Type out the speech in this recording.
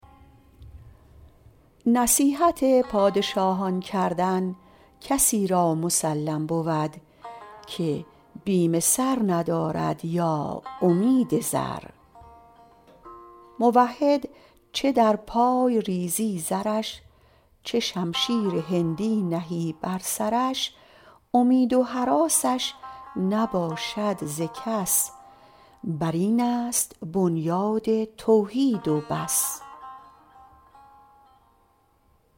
نصیحت پادشاهان کردن کسی را مسلم بود که بیم سر ندارد یا امید زر موحد چه در پای ریزی زرش چه شمشیر هندی نهی بر سرش امید و هراسش نباشد ز کس بر این است بنیاد توحید و بس